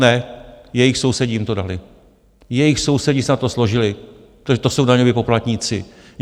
Ne, jejich sousedi jim to dali, jejich sousedi se na to složili, to jsou daňoví poplatníci.